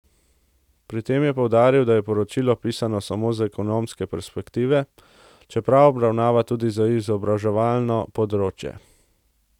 Pri tem je poudaril, da je poročilo pisano samo z ekonomske perspektive, čeprav obravnava tudi izobraževalno področje.